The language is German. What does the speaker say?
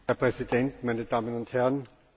Herr Präsident, meine Damen und Herren!